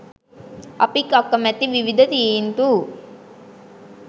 අපි අකමැති විවිධ තීන්දු